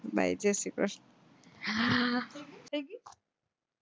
bye જય શ્રી ક્રષ્ણ